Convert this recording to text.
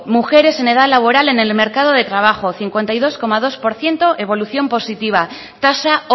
mujeres en edad laboral en el mercado de trabajo cincuenta y dos coma dos por ciento evolución positiva tasa